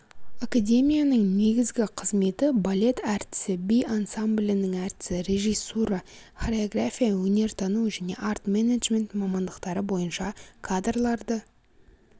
академияның негізгі қызметі балет әртісі би ансамблінің әртісі режиссура хореография өнертану және арт-менеджмент мамандықтары бойынша кадрларды